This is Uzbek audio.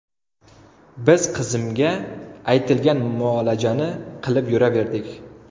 Biz qizimga aytilgan muolajani qilib yuraverdik.